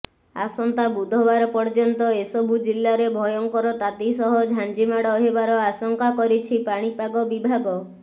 ଆସନ୍ତା ବୁଧବାର ପର୍ଯ୍ୟନ୍ତ ଏସବୁ ଜିଲ୍ଲାରେ ଭୟଙ୍କର ତାତି ସହ ଝାଞ୍ଜିମାଡ଼ ହେବାର ଆଶଙ୍କା କରିଛି ପାଣିପାଗ ବିଭାଗ